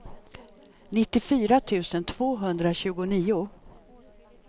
nittiofyra tusen tvåhundratjugonio